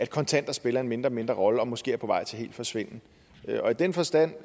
kontanter spiller en mindre og mindre rolle og måske er på vej til helt at forsvinde og i den forstand